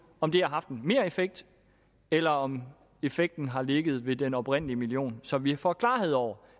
om det har haft en mereffekt eller om effekten har ligget i den oprindelige million så vi får klarhed over